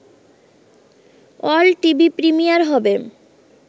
world TV premiere হবে